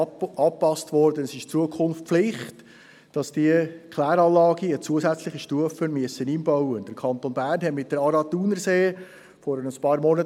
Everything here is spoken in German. Dazu erteile ich dem Sprecher der BaK, Grossrat Flück, das Wort.